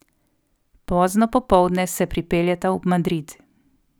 Pozno popoldne se pripeljeta v Madrid.